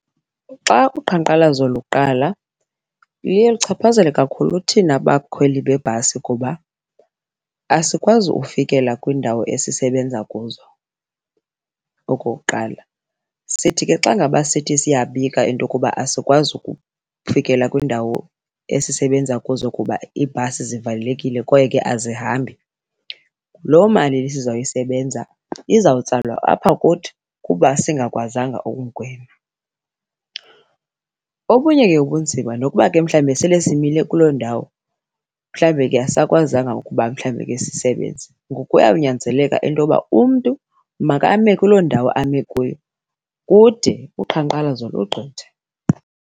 Xa uqhankqalazo luqala luye luchaphazele kakhulu thina bakhweli bebhasi kuba asikwazi ufikela kwiindawo esisebenza kuzo okokuqala. Sithi ke xa ngaba sithi siyabika into yokuba asikwazi ukufikela kwiindawo esisebenza kuzo kuba iibhasi zivalelekile kwaye ke azihambi, loo mali sizayisebenza izawutsalwa apha kuthi kuba singakwazanga ukungena. Okunye ke ubunzima, nokuba ke mhlawumbe sele simile kuloo ndawo, mhlawumbe ke asisakwazanga ukuba mhlawumbe ke sisebenze, ngoku kuyawunyanzeleka into yoba umntu makame kuloo ndawo ame kuyo kude uqhankqalazo lugqithe.